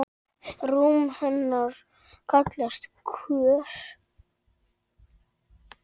Rúm hennar kallast Kör.